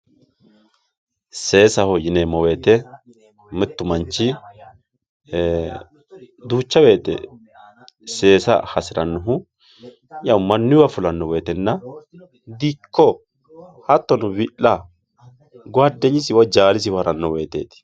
seesaho yineemmo woyiite mittu manchi duucha wote seesa hasirannohu mannuywa fulanno woytenna dikko hattono wi'la gowaaddenyisiwa woy jaalisiwa haranno woyteeti